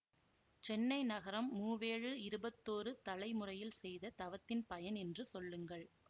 சென்னை நகரம் மூவேழு இருபத்தோரு தலை முறையில் செய்த தவத்தின் பயன் என்று சொல்லுங்கள்